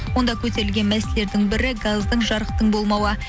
онда көтерілген мәселелердің бірі газдың жарықтың болмауы